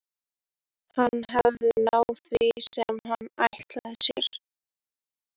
Hann hafði náð því sem hann ætlaði sér.